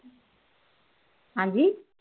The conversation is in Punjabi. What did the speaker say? ਹਾਂਜੀ